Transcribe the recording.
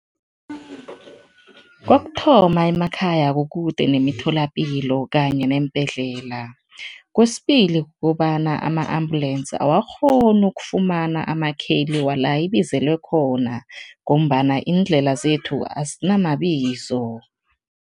Kokuthoma, emakhaya kukude nemitholapilo kanye neembhedlela. Kwesibili, kukobana ama-ambulensi awakghoni ukufumana amakheli wala ibizelwe khona ngombana iindlela zethu azinamabizo.